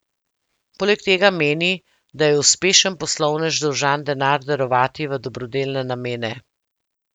Poleg tega meni, da je uspešen poslovnež dolžan denar darovati v dobrodelne namene.